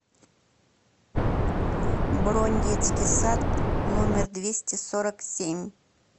бронь детский сад номер двести сорок семь